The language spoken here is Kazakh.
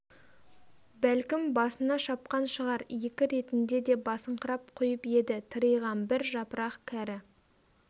бәлкім басына шапқан шығар екі ретінде де басыңқырап құйып еді тыриған бір жапырақ кәрі